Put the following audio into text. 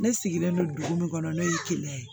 Ne sigilen don dugu min kɔnɔ ne ye keleya ye